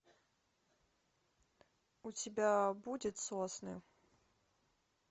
у тебя будет сосны